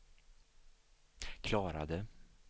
klarade